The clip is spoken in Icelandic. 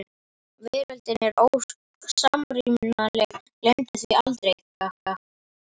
Veröldin er ósamrýmanleg, gleymdu því aldrei: gaga.